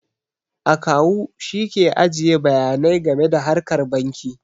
Akawu shi ke ajiye bayanai game da harkar banki